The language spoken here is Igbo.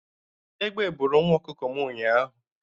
Egbe bụrụ nwa ọkụkọ m ụnyaahụ